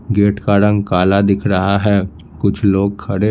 gate का रंग काला दिख रहा है कुछ लोग खड़े--